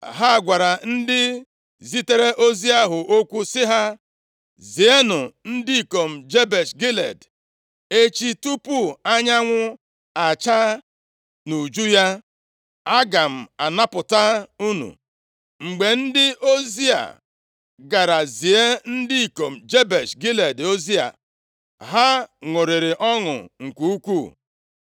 Ha gwara ndị zitere ozi ahụ okwu sị ha, “Zienụ ndị ikom Jebesh Gilead, ‘Echi, tupu anyanwụ achaa nʼuju ya, a ga-anapụta unu.’ ” Mgbe ndị ozi a gara zie ndị ikom Jebesh Gilead ozi a, ha ṅụrịrị ọṅụ nke ukwuu.